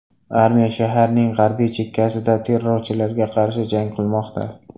Armiya shaharning g‘arbiy chekkasida terrorchilarga qarshi jang qilmoqda.